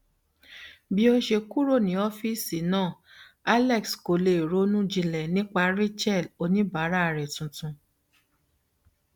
bí ó ṣe kúrò ní ọfíìsì náà alex kò lè ronú jinlẹ nípa rachel oníbàárà rẹ tuntun